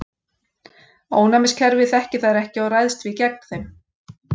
Ónæmiskerfið þekkir þær ekki og ræðst því gegn þeim.